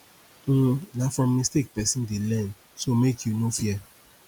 um na from mistake pesin dey learn so make you no fear